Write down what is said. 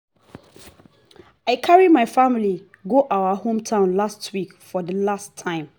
i carry my family go our hometown last week for the first time